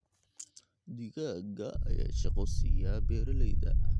Digaagga ayaa shaqo siiya beeralayda.